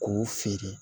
K'u feere